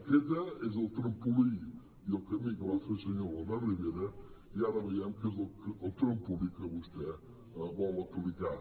aquest és el trampolí i el camí que va fer el senyor albert rivera i ara veiem que és el trampolí que vostè vol aplicar